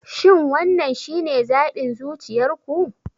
Shin wannan shine zaɓin zuciyar ku?